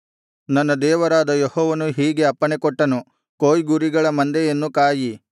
ನನ್ನ ದೇವರಾದ ಯೆಹೋವನು ಹೀಗೆ ಅಪ್ಪಣೆಕೊಟ್ಟನು ಕೊಯ್ಗುರಿಗಳ ಮಂದೆಯನ್ನು ಕಾಯಿ